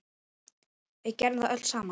Við gerðum það öll saman.